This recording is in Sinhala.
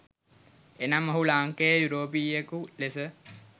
එනම් ඔහු ලාංකේය යුරෝපීයයකු ලෙස